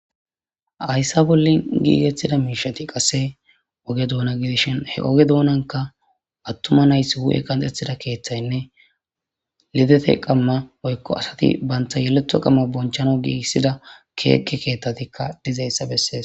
Haysa bolli gigettida mishshati qasse oge duna gidishin he ige donanka atuma nayti hu7e qaxetiza keththanne lidete qamma woyko asati banta yeleto qamma bonchanaw gigisida keeke keththatika dizaysa besses.